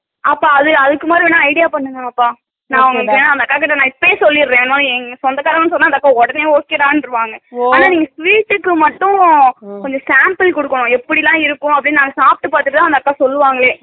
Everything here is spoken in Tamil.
அப்ப அது அதுக்கு idea பண்ணுங்க ஆத்தா நான் வேணுனா அந்த அக்காகிட்ட இப்பயே சொல்லிருறேன் என் சொந்தகாரங்க அப்பிடினா உடனே okay டான்னு வாங்க, ஆனா நீங்க sweet க்கு மட்டும் கொஞ்சம் sample கொடுக்கணும் எப்படில்லாம் இருக்கும் அப்பிடின்னு சாப்பிட்டு பாத்திட்டுத்தா அந்த அக்கா சொல்லுவாங்களே